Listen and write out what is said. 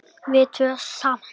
Við tvö saman.